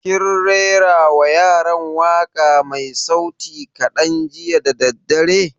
Kin rera wa yaran waƙa mai sauti kaɗan jiya da daddare?